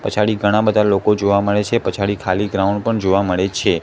પછાડી ઘણા બધા લોકો જોવા મડે છે પછાડી ખાલી ગ્રાઉન્ડ પણ જોવા મડે છે.